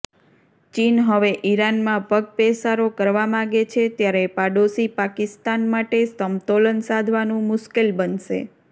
ચીન હવે ઇરાનમાં પગપેસારો કરવા માગે છે ત્યારે પડોશી પાકિસ્તાન માટે સમતોલન સાધવાનું મુશ્કેલ બનશે